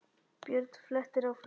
Björn flettir áfram.